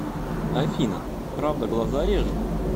афина правда глаза режет